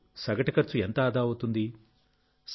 అప్పుడు సగటు ఖర్చు ఎంత ఆదా అవుతుంది